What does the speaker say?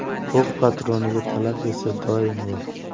O‘q patroniga talab esa doim bor.